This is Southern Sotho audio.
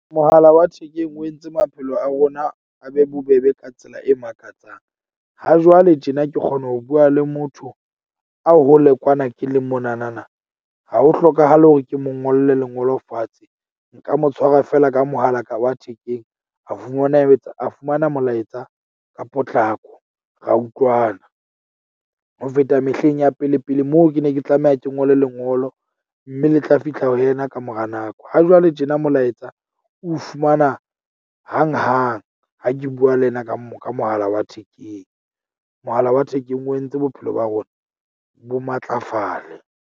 Mohala wa thekeng o entse maphelo a rona, a be bobebe ka tsela e makatsang. Ha jwale tjena ke kgona ho bua le motho a hole kwana ke le mona na na, ha ho hlokahale hore ke mo ngolle lengolo fatshe. Nka mo tshwarwa feela ka mohalaka wa thekeng. A fumana a etsa a fumana molaetsa ka potlako. Ra utlwana ho feta mehleng ya pele pele moo ke ne ke tlameha ke ngole lengolo. Mme le tla fihla ho yena ka mora nako. Ha jwale tjena molaetsa o fumana hang hang ha ke bua le yena ka mo ka mohala wa thekeng. Mohala wa thekeng o entse bophelo ba rona bo matlafale.